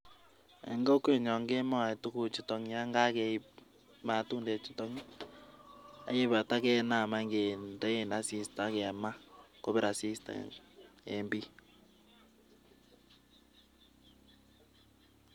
Eng kokwenyon kemae tuguchutok yon kakeip matundechutok ak ye kaipata kenaam anyun kendee asista ak kemaa, kopir asista eng bii.